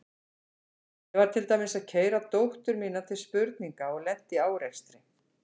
Ég var til dæmis að keyra dóttur mína til spurninga og lenti í árekstri.